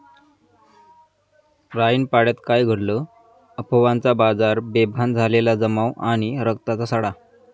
राईनपाड्यात काय घडलं? अफवांचा बाजार, बेभान झालेला जमाव आणि रक्ताचा सडा